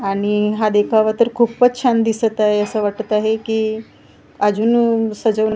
आणि हा देखावा तर खूपच छान दिसत आहे असं वाटत आहे की अजून सज--